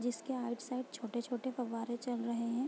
जिसके right side छोटे-छोटे फव्वारे चल रहे हैं ।